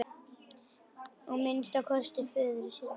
Að minnsta kosti föður sínum.